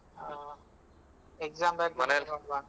ಹಾ exam ಬರ್ದ್ಮೇಲೆ ಹೋಗುವಾಂತ